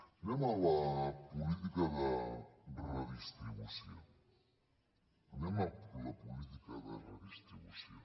anem a la política de redistribució anem a la política de redistribució